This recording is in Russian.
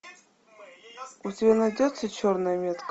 у тебя найдется черная метка